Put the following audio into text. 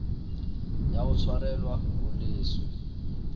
ya ho tshwarelwa ho leswe